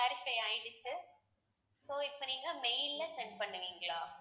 clarify ஆயிடுத்து so இப்ப நீங்க mail ல send பண்ணுவீங்களா